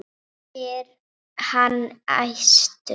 spyr hann æstur.